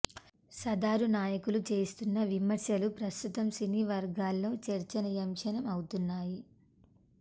సదరు నాయకులు చేస్తున్న విమర్శలు ప్రస్తుతం సినీ వర్గాల్లో చర్చనీయాంశం అవుతున్నాయి